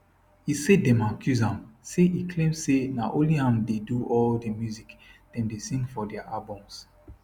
e say dem accuse am say e claim say na only am dey do all di music dem dey sing for dia albums